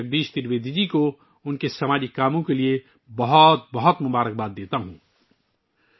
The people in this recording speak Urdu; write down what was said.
میں بھائی جگدیش ترویدی جی کو ان کے سماجی کام کے لیے نیک خواہشات کا اظہار کرتا ہوں